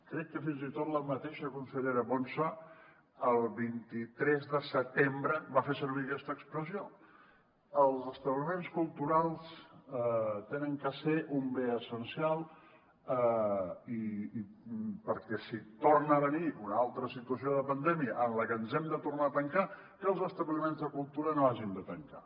crec que fins i tot la mateixa consellera ponsa el vint tres de setembre va fer servir aquesta expressió els establiments culturals han de ser un bé essencial perquè si torna a venir una altra situació de pandèmia en la que ens hàgim de tornar a tancar que els establiments de cultura no hagin de tancar